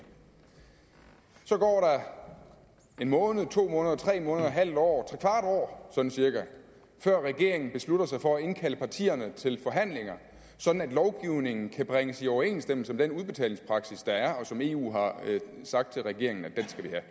så går der en måned to måneder tre måneder et halvt år trekvart år sådan cirka før regeringen beslutter sig for at indkalde partierne til forhandlinger sådan at lovgivningen kan bringes i overensstemmelse med den udbetalingspraksis der er og som eu har sagt til regeringen at vi